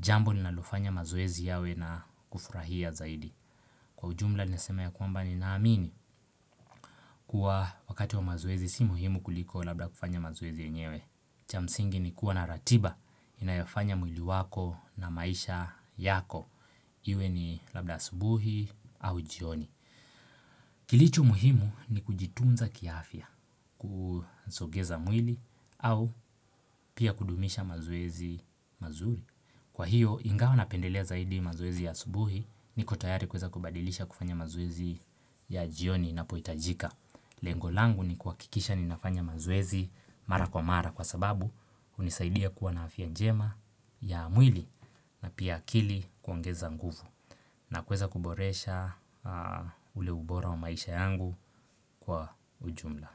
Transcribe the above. jambo linalofanya mazoezi yawe na kufurahia zaidi. Kwa ujumla nesema ya kwamba ninaamini. Kuwa wakati wa mazoezi si muhimu kuliko labda kufanya mazoezi yenyewe. Cha msingi ni kuwa na ratiba, inayofanya mwili wako na maisha yako. Iwe ni labda asubuhi au jioni. Kilicho muhimu ni kujitunza kiafya kusogeza mwili au pia kudumisha maoezi mazuri. Kwa hiyo ingawa napendelea zaidi mazoezi ya asubuhi niko tayari kuweza kubadilisha kufanya mazoezi ya jioni inapohitajika Lengo langu ni kuhakikisha ninafanya mazoezi mara kwa mara kwa sababu hunisaidia kuwa na afya njema ya mwili na pia akili kuongeza nguvu na kuweza kuboresha ule ubora wa maisha yangu kwa ujumla.